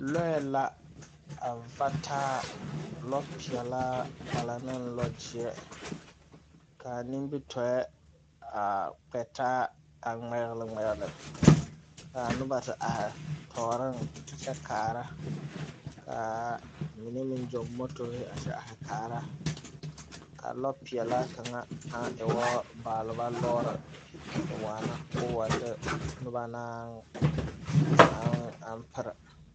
Lͻԑ la a va taa, lͻͻpeԑlaa a la ne lͻͻgyeԑ. Ka a nimbitͻԑ a kpԑ taa a ŋmԑgele ŋmԑgele. Kaa noba te are tͻͻreŋ a kyԑ kaara, ka mine meŋ gyͻͻ motori a kyԑ are kaara. Ka lͻͻpeԑla kaŋa aŋ e woo baaleba a te waana koo wa de noba na naŋ aŋ aŋ pere.